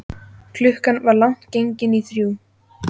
Klukkan var langt gengin í þrjú.